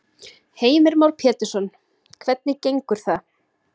Heimir Már Pétursson: Hvernig gengur það?